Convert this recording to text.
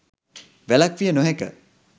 වැළැක්විය නොහැක.